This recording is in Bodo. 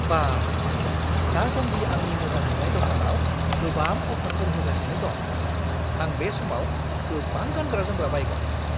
बा! दासानदि आंनि मोजां मोन्नाय दखानाव गोबां अफारफोर होगासिनो दं। आं बे समाव गोबां गानग्रा-जोमग्रा बायगोन।